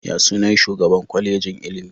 Ya sunan shugaan Kwalejin ilimi?